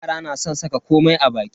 Yara na san saka komai a baki.